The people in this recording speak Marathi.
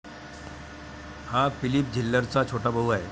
हा फिलिप झेल्लेरचा छोटा भाऊ आहे.